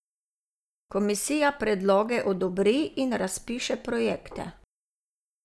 Komisija predloge odobri in razpiše projekte.